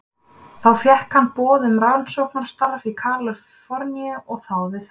Þá fékk hann boð um rannsóknarstarf í Kalíforníu og þáði það.